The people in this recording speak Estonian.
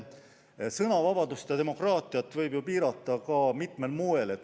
Sõnavabadust ja demokraatiat saab ju piirata mitmel moel.